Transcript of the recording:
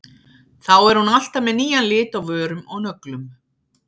Þá er hún alltaf með nýjan lit á vörum og nöglum.